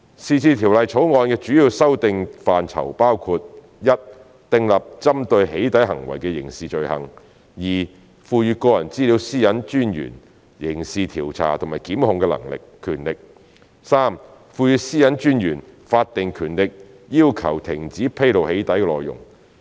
是次《條例草案》的主要修訂範疇包括：一訂立針對"起底"行為的刑事罪行；二賦予個人資料私隱專員刑事調查和檢控的權力；及三賦予私隱專員法定權力要求停止披露"起底"內容。